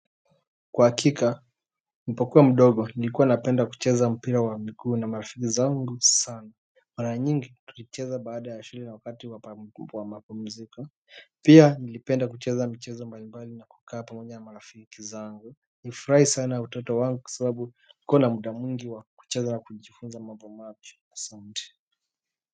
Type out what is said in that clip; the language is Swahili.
Kwa hakika, mpokuwa mdogo, nilikuwa napenda kucheza mpira wa miguu na marafiki zangu sana. Mara nyingi, tulicheza baada ya shule na wakati wa mapumziko pia, nilipenda kucheza michezo mbalimbali na kukaa pamoja na marafiki zangu. Nifurahi sana utoto wangu kwa sabu nikona muda mwingi wa kucheza na kujifunza mambo mapya. Asanti.